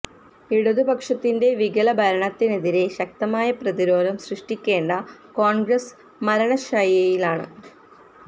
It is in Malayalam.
ഇടതുപക്ഷത്തിന്റെ വികല ഭരണത്തിനെതിരെ ശക്തമായ പ്രതിരോധം സൃഷ്ടിക്കേണ്ട കോണ്ഗ്രസ്സ് മരണ ശയ്യയിലാണ്